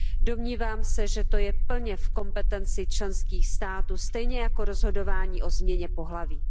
Domnívám se, že to je plně v kompetenci členských států stejně jako rozhodování o změně pohlaví.